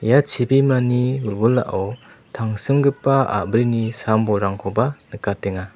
ia chibimani wilwilao tangsimgipa a·brini sam-bolrangkoba nikatenga.